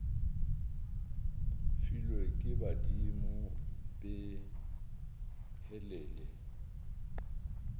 filwe ke badimo be helele